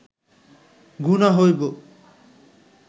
গুনাহ হইব